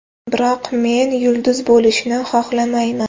Biroq men yulduz bo‘lishni xohlamayman.